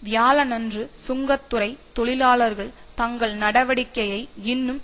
வியாழனன்று சுங்கத்துறை தொழிலாளர்கள் தங்கள் நடவடிக்கையை இன்னும்